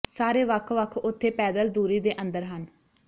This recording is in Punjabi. ਸਾਰੇ ਵੱਖ ਵੱਖ ਉਥੇ ਪੈਦਲ ਦੂਰੀ ਦੇ ਅੰਦਰ ਹਨ